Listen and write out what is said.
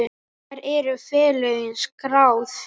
Hvar eru félögin skráð?